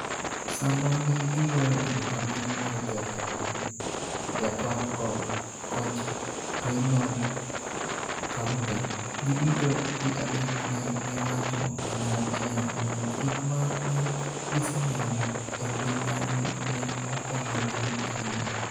Sama ne gigoyo erokamano ne jatendgi Yator kod koch Reynold Kaunda, giduto ji adek ne giwacho kanyachiel ni gik ma ne giseneno e ngimagi ne okonyogi ahinya.